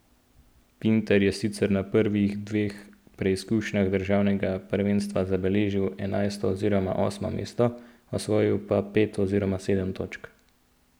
Pintar je sicer na prvih dveh preizkušnjah državnega prvenstva zabeležil enajsto oziroma osmo mesto, osvojil pa pet oziroma sedem točk.